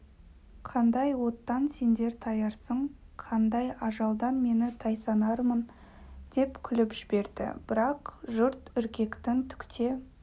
қандай оттан сендер таярсың қандай ажалдан мені тайсанармын деп күліп жберді бірақ жұрт үркетін түк те